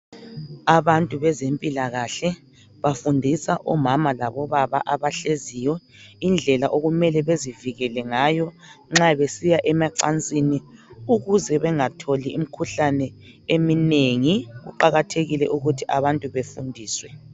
Abantu bezempilakahle bafundisa omama labobaba abahleziyo indlela okumele bezivikele ngayo nxa besiya emacansini ukuze bengatholi imikhuhlane eminengi. Kuqakathekile ukuthi abantu befundiswe